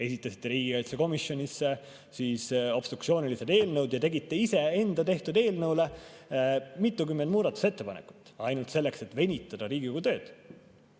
Esitasite riigikaitsekomisjonis obstruktsioonilised eelnõud ja tegite iseenda tehtud eelnõule mitukümmend muudatusettepanekut ainult selleks, et venitada Riigikogu tööd.